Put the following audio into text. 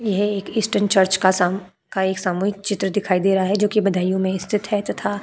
यह एक eastern church का साम का एक सामूहिक चित्र दिखाई दे रहा है जोकि बदायूं में स्थित है तथा --